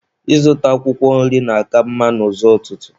Ịzụta akwụkwọ nri na-aka mma n'ụzọ ụtụtụ.